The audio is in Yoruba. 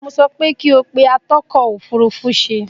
Mo sọ wí pé kí ó pe àtọ́tọ̀-òfurufú-ṣe